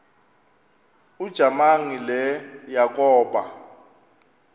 ujamangi le yakoba